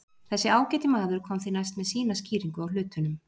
Þessi ágæti maður kom því næst með sína skýringu á hlutunum.